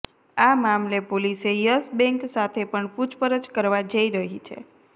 આ મામલે પોલીસે યસ બેંક સાથે પણ પૂછપરછ કરવા જઈ રહી છે